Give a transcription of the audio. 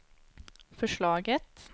förslaget